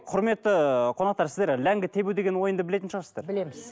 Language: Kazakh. құрметті ыыы қонақтар сіздер ләңгі тебу деген ойынды білетін шығарсыздар білеміз